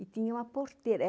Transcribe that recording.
E tinha uma porteira.